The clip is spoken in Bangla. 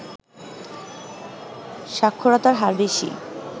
সাক্ষরতার হার বেশি